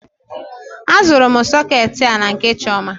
A zụrụ m soketi a na nke Chioma.